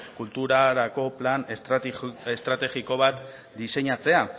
kulturarako plan estrategiko bat diseinatzea